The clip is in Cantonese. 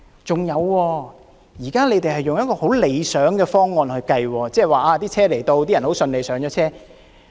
再者，現在是用十分理想的情況來作計算，即是列車來到，乘客順利上車。